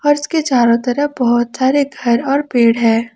और इसके चारों तरफ बहुत सारे घर और पेड़ है।